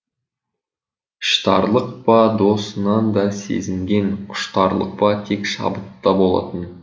іштарлық па досынан да сезінген құштарлық па тек шабытта болатын